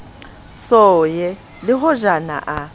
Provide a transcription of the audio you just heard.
so ye le hojana a